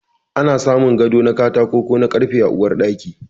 Ana samun gado na katako ko na karfe a Uwar Ɗaki.